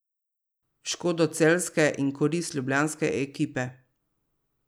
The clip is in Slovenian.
V škodo celjske in v korist ljubljanske ekipe.